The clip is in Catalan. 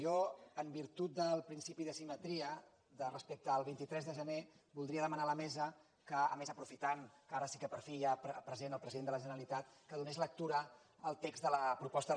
jo en virtut del principi de simetria respecte al vint tres de gener voldria demanar a la mesa que a més aprofitant que ara sí que per fi hi ha present el president de la generalitat donés lectura al text de la proposta de resolució